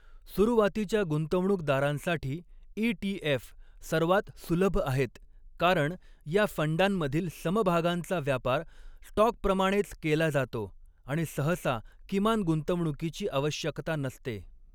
सुरुवातीच्या गुंतवणूकदारांसाठी ई.टी.एफ. सर्वात सुलभ आहेत कारण या फंडांमधील समभागांचा व्यापार स्टॉकप्रमाणेच केला जातो आणि सहसा किमान गुंतवणुकीची आवश्यकता नसते.